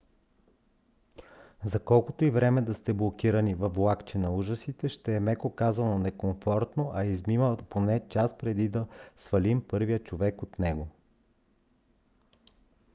за колкото и време да сте блокирани във влакче на ужасите ще е меко казано некомфортно а измина поне час преди да свалим първия човек от него.